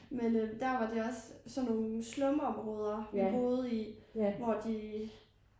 Men øh der var det også sådan nogle slumområder vi boede i hvor de